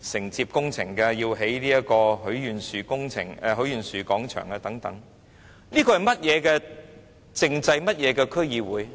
承接的工程，例如興建許願廣場等，這是怎麼樣的政制和區議會？